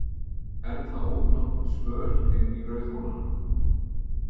Erla ók nokkurn spöl inn í Rauðhólana.